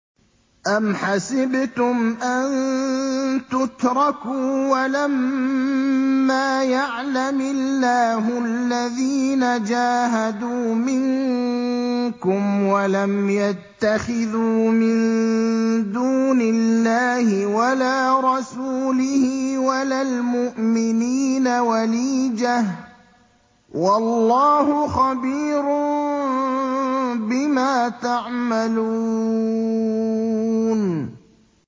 أَمْ حَسِبْتُمْ أَن تُتْرَكُوا وَلَمَّا يَعْلَمِ اللَّهُ الَّذِينَ جَاهَدُوا مِنكُمْ وَلَمْ يَتَّخِذُوا مِن دُونِ اللَّهِ وَلَا رَسُولِهِ وَلَا الْمُؤْمِنِينَ وَلِيجَةً ۚ وَاللَّهُ خَبِيرٌ بِمَا تَعْمَلُونَ